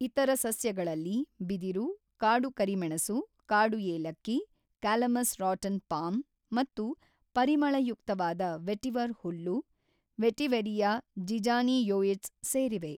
ಇತರ ಸಸ್ಯಗಳಲ್ಲಿ ಬಿದಿರು, ಕಾಡು ಕರಿಮೆಣಸು, ಕಾಡು ಏಲಕ್ಕಿ, ಕ್ಯಾಲಮಸ್‌ ರಾಟನ್ ಪಾಮ್ ಮತ್ತು ಪರಿಮಳಯುಕ್ತವಾದ ವೆಟಿವರ್ ಹುಲ್ಲು, ವೆಟಿವೆರಿಯಾ ಜಿಜಾನಿಯೊಯಿಡ್ಸ್ ಸೇರಿವೆ.